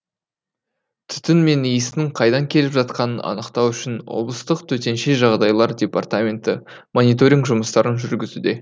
түтін мен иістің қайдан келіп жатқанын анықтау үшін облыстық төтенше жағдайлар департаменті мониторинг жұмыстарын жүргізуде